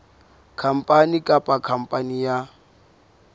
khampani kapa khampani ya ba